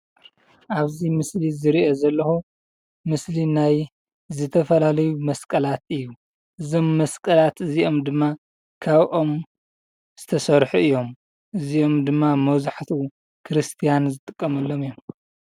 ኣብዚ ምስሊ ዝርኦ ዘለኩ ምስሊ ናይ ዝተፈላለዩ መስቀላት እዩ። እዞም መስቀላት እዚኦም ድማ ካብ ኦም ዝተሰርሑ እዮም እዚኦም ድማ መብዛሕትኡ ክርስትያን ዝጥቀሙሎም እዮም።